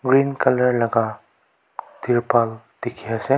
green colour laka dekhi ase.